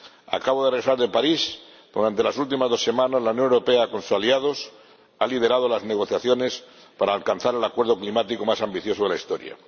Acabo de regresar de París, donde durante las últimas dos semanas la Unión Europea, con sus aliados, ha liderado las negociaciones para alcanzar el acuerdo climático más ambicioso de la historia.